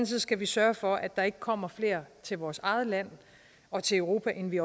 side skal vi sørge for at der ikke kommer flere til vores eget land og til europa end vi